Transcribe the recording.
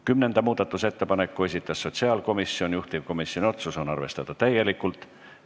Kümnenda muudatusettepaneku on esitanud sotsiaalkomisjon, juhtivkomisjoni otsus on arvestada täielikult.